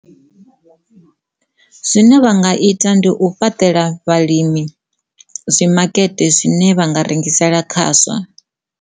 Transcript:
Zwine vha nga ita ndi u fhaṱela vhalimi zwi makete zwine vha nga rengisela khazwo.